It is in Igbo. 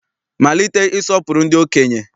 Malite ịsọpụrụ ndị okenye!